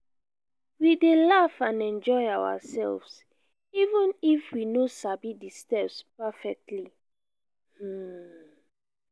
we dey laugh and enjoy ourselves even if we no sabi di steps perfectly. um